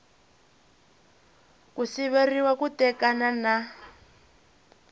ku siveriwa ku tekana na